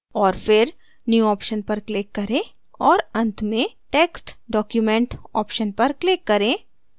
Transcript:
और फिर new option पर क्लिक करें और अंत में text documentऑप्शन पर क्लिक करें